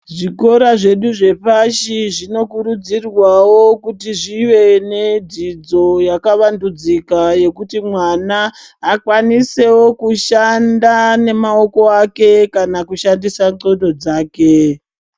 Zvikora zvedu zvepashi zvinokurudzirwawo kuti zvive nedzidzo yakavandudzika yekuti mwana akwanisewo kushanda nemaoko ake kana kushandisa ndxondo dzake.